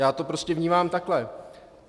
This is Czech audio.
Já to prostě vnímám takhle.